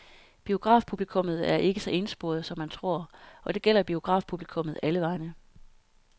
Biografpublikummet er ikke så ensporet, som man tror, og det gælder biografpublikummet alle vegne.